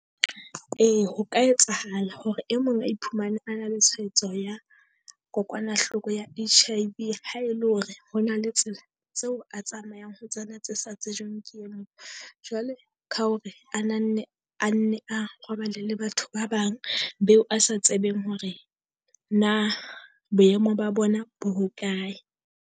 Ee ho ka etsahala hore e mong a iphumane a na le tshwaetso ya kokwanahloko ya H_I_V ha e le hore, ho na le tsela tseo a tsamayang ho tsena tse sa tsejweng ke emong. Jwale ka hore a na nne a nne a robale le batho ba bang. Beo a sa tsebeng hore na boemo ba bona bo hokae.